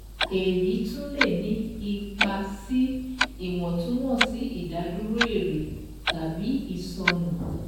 Èyí tún lè ní ipa sí iye Ìwọ̀túnwọ̀sì Ìdádúró èrè tàbí ìsọnù.